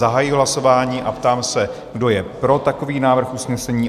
Zahajuji hlasování a ptám se, kdo je pro takový návrh usnesení?